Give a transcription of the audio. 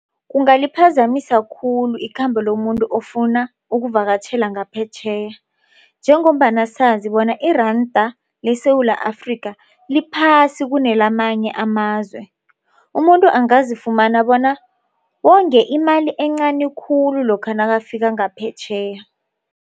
Kungaliphazamisa khulu ikhambo lomuntu ofuna ukuvakatjhela ngaphetjheya njengombana sazi bona iranda leSewula Afrika liphasi kunelamanye amazwe umuntu abangazifumana bona wonge imali encani khulu lokha nakafika ngaphetjheya.